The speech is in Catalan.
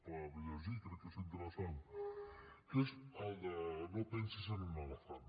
per llegir crec que és interessant que és el de no pensis en un elefant